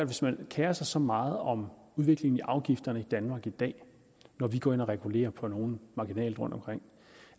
hvis man kerer sig så meget om udviklingen i afgifterne i danmark i dag når vi går ind og regulerer på nogle marginalt rundtomkring